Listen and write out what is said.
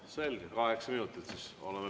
Siis paneme teile kaheksa minutit.